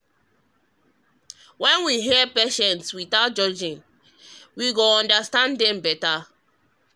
when we hear patients without judging we go understand dem better.